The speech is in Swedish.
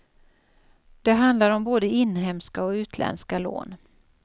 Det handlar om både inhemska och utländska lån.